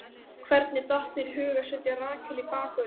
Hvernig datt þér í hug að setja Rakel í bakvörðinn?